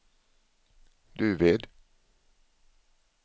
Duved